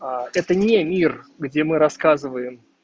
а это не мир где мы рассказываем